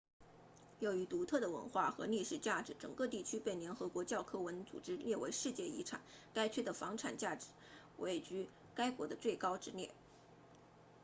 由于独特的文化和历史价值整个地区被联合国教科文组织列为世界遗产该区的房产价值位居该国的最高之列